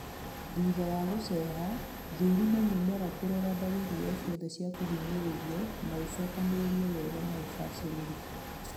Thutha wa gũceha, thũrima mĩmera kũrora dalili o ciothe cia kũhinyĩrĩrio na ũcokanĩrĩrie wega na ũbacĩrĩri